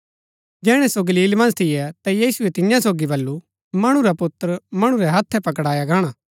जैहणै सो गलील मन्ज थियै ता यीशुऐ तियां सोगी बल्लू मणु रा पुत्र मणु रै हत्थै पकड़ाया गाणा